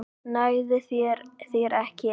Nægði þér ekki ein?